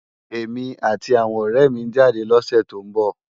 Emi áti áwòn òrè mi n jádè lòsè tó n bò